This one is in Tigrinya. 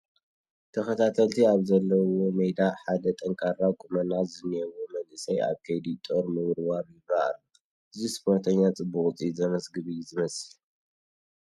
ተኸታተልቲ ኣብዘለዉዎ ሜዳ ሓደ ጠንካራ ቁመና ዝኔዎ መንእሰይ ኣብ ከይዲ ጦር ምውርዋር ይርአ ኣሎ፡፡ እዚ ስፖርተኛ ፅቡቕ ውፅኢት ዘምዝግብ እዩ ዝመስል፡፡